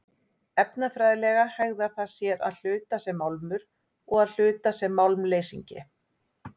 Efnafræðilega hegðar það sér að hluta sem málmur og að hluta sem málmleysingi.